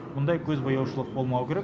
мұндай көзбояушылық болмауы керек